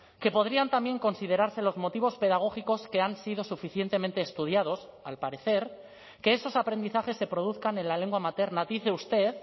que podrían también considerarse los motivos pedagógicos que han sido suficientemente estudiados al parecer que esos aprendizajes se produzcan en la lengua materna dice usted